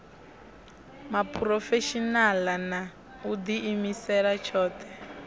muphurofeshinala na u diimisela tshothe